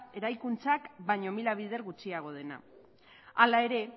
eraikuntzak baino mila bider gutxiago dena hala ere